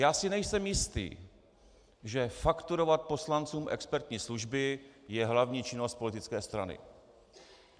Já si nejsem jist, že fakturovat poslancům expertní služby je hlavní činnost politické strany.